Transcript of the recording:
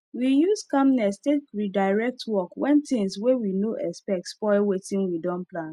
we use calmness take redirect work when things wey we no expect spoil wetin we don plan